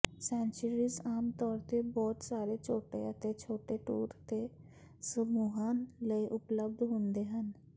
sanctuaries ਆਮਤੌਰ ਤੇ ਬਹੁਤ ਸਾਰੇ ਛੋਟੇ ਅਤੇ ਛੋਟੇ ਟੂਰ ਦੇ ਸਮੂਹਾਂ ਲਈ ਉਪਲਬਧ ਹੁੰਦੇ ਹਨ